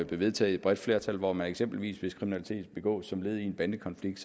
vedtaget af et bredt flertal hvor der eksempelvis hvis kriminalitet begås som led i en bandekonflikt